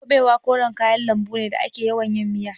Kuɓewa koren kayan lambu ne da ake yawan yin miya.